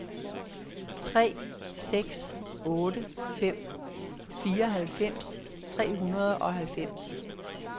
tre seks otte fem fireoghalvfems tre hundrede og halvfems